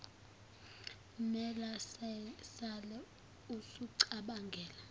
mela sale usucabangela